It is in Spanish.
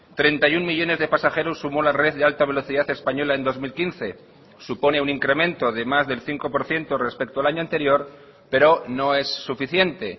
treinta y uno millónes de pasajeros sumó la red de alta velocidad española en dos mil quince supone un incremento de más del cinco por ciento respecto al año anterior pero no es suficiente